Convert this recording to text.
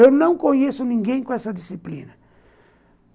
Eu não conheço ninguém com essa disciplina.